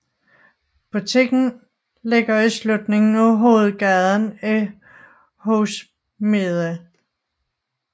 Butikken ligger i slutningen af hovedgaden i Hogsmeade